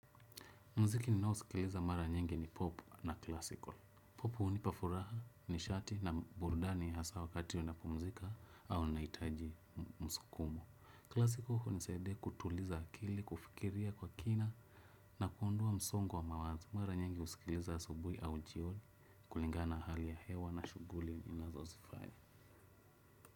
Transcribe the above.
Mziki ninao usikiliza mara nyingi ni pop na classical. Pop unipa furaha, nishati na burdani hasa wakati unapumzika au unaitaji msukumo. Classical hunisaidia kutuliza akili, kufikiria kwa kina na kuondoa msongo wa mawazo. Mara nyingi usikiliza asubui au jioni kulingana na hali ya hewa na shuguli ninazo zifanya.